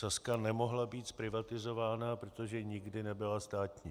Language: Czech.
Sazka nemohla být zprivatizována, protože nikdy nebyla státní.